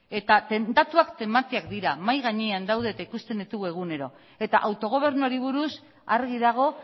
eta datuak tematiak dira mahai gainean daude eta ikusten ditugu egunero eta autogobernuari buruz argi dago